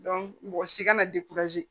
mɔgɔ si kana